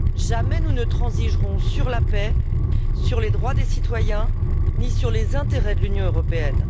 Jamais nous ne transigerons sur la paix, sur les droits des citoyens, ni sur les intérêts de l'Union européenne.